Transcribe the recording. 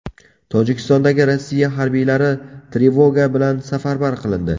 Tojikistondagi Rossiya harbiylari trevoga bilan safarbar qilindi.